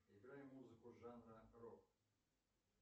играй музыку жанра рок